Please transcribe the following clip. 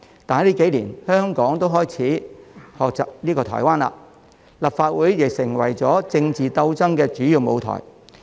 但近年，香港亦開始學習台灣，立法會成為了政治鬥爭的主要舞台。